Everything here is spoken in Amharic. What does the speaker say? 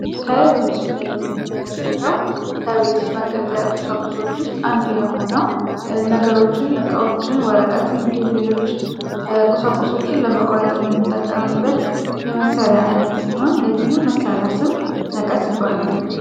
የምንመለከተው ከቤት ውስጥ መገልገያ ቁሳቁሶች ውስጥ አንድ የሆነው ነገሮችን እቃዎችን ወረቀትም ሌሎች ቁሳቁሶችን ለመቁረጥ መጠቀምበት የመሳርያ አይነት ሲሆን የዚህም መሳሪያ ስም መቀስ ይባላል